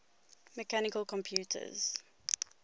mechanical computers